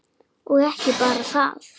Og ekki bara það: